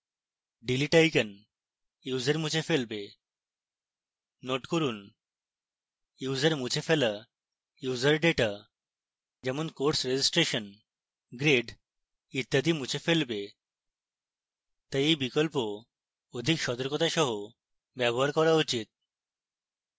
delete icon user মুছে ফেলবে